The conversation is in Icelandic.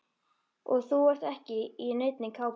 Og þú ert ekki í neinni kápu.